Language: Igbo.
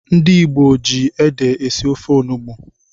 Ndị Igbo ji ede esi ofe onugbu.